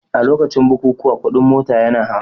A lokacin bukukuwa kuɗin mota yana hawa